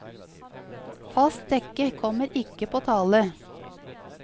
Fast dekke kommer ikke på tale.